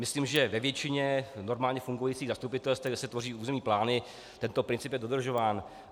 Myslím, že ve většině normálně fungujících zastupitelstev, kde se tvoří územní plány, tento princip je dodržován.